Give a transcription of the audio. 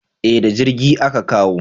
Eh da jirgi a Ka kawo